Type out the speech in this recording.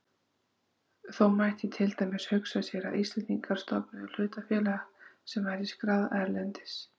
Þó mætti til dæmis hugsa sér að Íslendingar stofnuðu hlutafélag sem væri skráð erlendis.